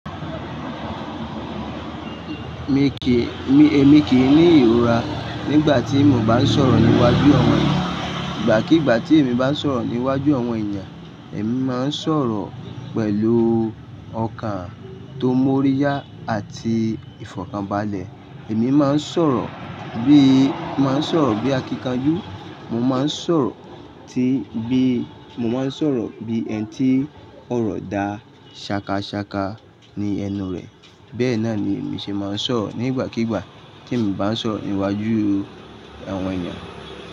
Mi kìí, èmi kì í ní ìrora nígbà tí mo bá ń sọ̀rọ̀ níwájú àwọn ènìyàn. Ìgbàkígbà tí èmi bá ń sọ̀rọ̀ níwájú àwọn èèyàn, èmi máa ń sọ̀rọ̀ pẹ̀lú ọkàn tó móríyá àti ìfọ̀kànbalẹ̀. Èmi máa ń sọ̀rọ̀ bí, máa ń sọ̀rọ̀ bí akíkanjú, mo máa ń sọ̀rọ̀ tí bí, mo máa ń sọ̀rọ̀ bí ẹni tí ọ̀rọ̀ dà ṣakaṣaka ní ẹnu rẹ̀. Bẹ́ẹ̀ náà ni èmi ṣe máa ń sọ̀rọ̀ nígbàkígbà tí èmi bá ń sọ̀rọ̀ níwájú àwọn ènìyàn.